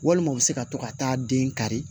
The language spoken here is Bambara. Walima u bɛ se ka to ka taa den kari